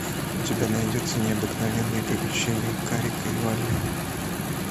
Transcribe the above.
у тебя найдется необыкновенные приключения карика и вали